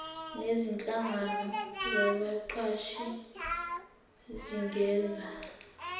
nezinhlangano zabaqashi zingenza